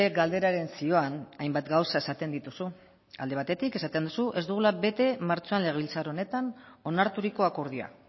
galderaren zioan hainbat gauza esaten dituzu alde batetik esaten duzu ez dugula bete martxoan legebiltzar honetan onarturiko akordioa